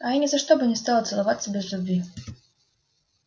а я ни за что бы не стала целоваться без любви